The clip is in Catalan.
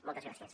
moltes gràcies